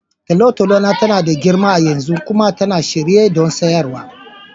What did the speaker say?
Tolotolo na tana da girma a yanzu kuma tana shirye don siyarwa.